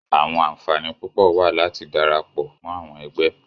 Awọn anfani pupọ wa lati darapọ mọ awọn ẹgbẹ.